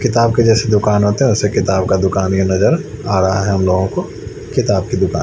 किताब के जैसे दुकान होते हैं वैसे किताब का दुकान ये नजर आ रहा है हम लोगों को किताब की दुकान--